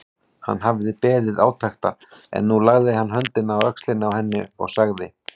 Hann hafði beðið átekta en nú lagði hann höndina á öxlina á henni og sagði